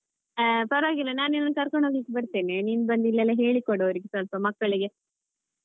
ಹಾ ಪರವಾಗಿಲ್ಲ ನಾನ್ ನಿನ್ನ ಕರ್ಕೊಂಡು ಹೋಗಲಿಕ್ಕೆ ಬರ್ತೇನೆ ನೀನ್ ಬಂದು ಇಲ್ಲೆಲ್ಲಾ ಹೇಳಿಕೊಡು ಅವರಿಗೆ ಸ್ವಲ್ಪ ಮಕ್ಕಳಿಗೆ.